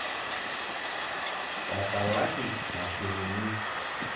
Etalaki mashinini.